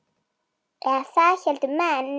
Eða það héldu menn.